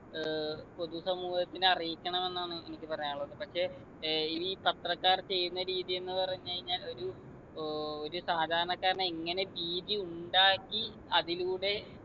ഏർ പൊതു സമൂഹത്തിനെ അറിയിക്കണമെന്നാണ് എനിക്ക് പറയാനുള്ളത് പക്ഷെ ഏർ ഇനിയി പത്രക്കാര്‍ ചെയ്യുന്ന രീതി എന്ന് പറഞ്ഞു കഴിഞ്ഞാൽ ഒരു ഓ ഒരു സാധാരണക്കാരനെ എങ്ങനെ ഭീതി ഉണ്ടാക്കി അതിലൂടെ